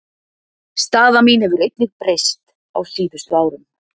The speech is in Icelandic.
Staða mín hefur einnig breyst á síðustu árum.